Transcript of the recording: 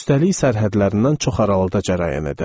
Üstəlik sərhədlərindən çox aralıda cərəyan edərdi.